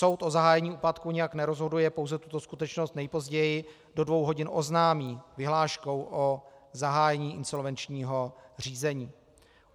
Soud o zahájení úpadku nijak nerozhoduje, pouze tuto skutečnost nejpozději do dvou hodin oznámí vyhláškou o zahájení insolvenčního řízení.